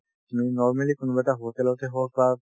তুমি normally কোনোবা এটা hotel তে হওক বা